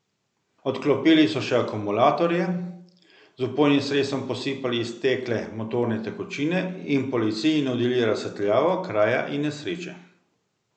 Odklopili so še akumulatorje, z vpojnim sredstvom posipali iztekle motorne tekočine in policiji nudili razsvetljavo kraja nesreče.